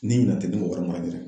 Ni ɲinan tɛ